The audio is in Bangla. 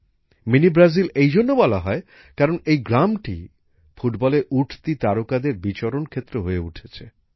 মিনি ব্রাজিল এই জন্য বলা হয় কারণ এই গ্রামটি ফুটবলের উঠতি তারকাদের বিচরণ ক্ষেত্র হয়ে উঠেছে